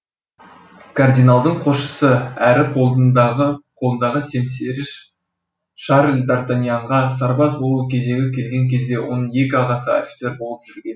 кардиналдың қосшысы әрі қолындағы қолындағы семсері шарль дартаньянға сарбаз болу кезегі келген кезде оның екі ағасы офицер болып жүрген